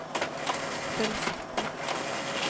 fullsatte